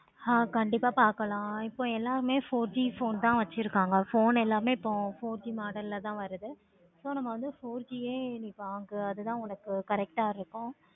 ஆஹ் கண்டிப்பா பார்க்கலாம். இப்போ எல்லாமே four G தான் phone தன வச்சிருக்காங்க phone எல்லாமே four G phone தான் வச்சிருக்காங்க so நம்ம four G ஏ நீ வாங்கு. அது தான correct ஆஹ் இருக்கு.